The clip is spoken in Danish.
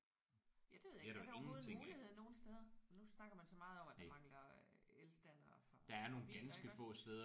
Ja det ved jeg ikke. Er det overhovedet en mulighed nogen steder? Nu snakker man så meget om at der mangler elstandere for biler iggås